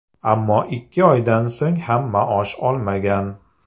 Ammo ikki oydan so‘ng ham maosh olmagan.